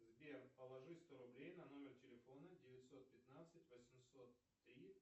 сбер положи сто рублей на номер телефона девятьсот пятнадцать восемьсот три